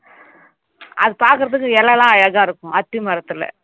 அது பாக்குறதுக்கு இலைலாம் அழகா இருக்கும் அத்தி மரத்துல